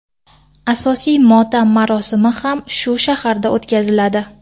Asosiy motam marosimi ham shu shaharda o‘tkaziladi.